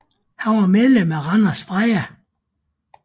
Han var medlem af Randers Freja